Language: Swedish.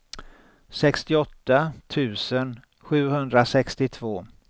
sextioåtta tusen sjuhundrasextiotvå